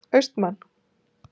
Austmann